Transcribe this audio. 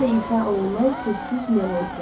Səslə ifa olunan sözsüz melodiya.